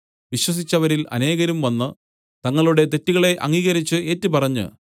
വിശ്വസിച്ചവരിൽ അനേകരും വന്ന് തങ്ങളുടെ തെറ്റുകളെ അംഗീകരിച്ച് ഏറ്റുപറഞ്ഞു